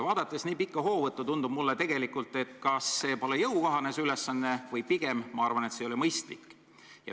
Vaadates nii pikka hoovõttu, tundub mulle tegelikult, et vahest see pole jõukohane ülesanne, või pigem ma arvan, et see ei ole mõistlik.